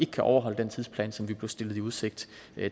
kan overholde den tidsplan som vi blev stillet i udsigt